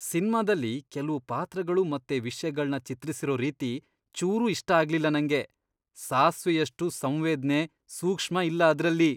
ಸಿನ್ಮಾದಲ್ಲಿ ಕೆಲ್ವು ಪಾತ್ರಗಳು ಮತ್ತೆ ವಿಷ್ಯಗಳ್ನ ಚಿತ್ರಿಸಿರೋ ರೀತಿ ಚೂರೂ ಇಷ್ಟ ಆಗ್ಲಿಲ್ಲ ನಂಗೆ. ಸಾಸ್ವೆಯಷ್ಟೂ ಸಂವೇದ್ನೆ, ಸೂಕ್ಷ್ಮ ಇಲ್ಲ ಅದ್ರಲ್ಲಿ.